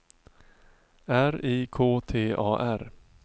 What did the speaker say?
R I K T A R